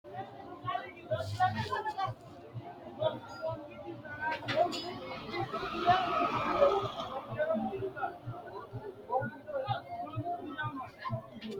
Mannu angate ogimmanni loossanokkiri horo dino goowaho usudhinanni diiga, mine biinfileho suxinannitta qaaqquleho angate budakku ittanokki gede worannitta kuri baallanka gamba assine angate ogimani loonse shiqqinshonni.